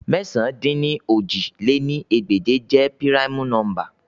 Mẹ̀sán-dín-ní-ojì lé ní ẹgbẹ́je jẹ primu nọmba